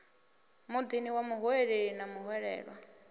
muḓini wa muhweleli na muhwelelwa